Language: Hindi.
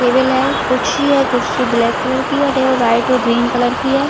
--टेबल है कुर्सी है कुर्सी ब्लैक कलर की है टेबल व्हाइट और ग्रीन कलर की है।